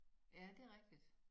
Ja det rigtig